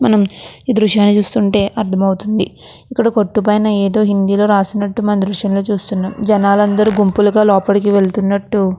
మనం ఈ దృశ్యాన్ని చూస్తుంటే అర్థమవుతుంది ఇక్కడ కొట్టు పైన ఏదో హిందీ లో రాసినట్టు అందరూ చూస్తున్నాం జనాలందరూ గుంపులుగా లోపలికి వెళ్తున్నట్టు --